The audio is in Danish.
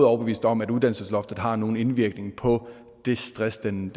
overbevist om at uddannelsesloftet har nogen indvirkning på det stress den